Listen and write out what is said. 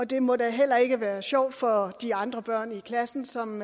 det må da heller ikke være sjovt for de andre børn i klassen som